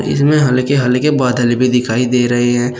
इसमें हल्के हल्के बादल भी दिखाई दे रहे हैं।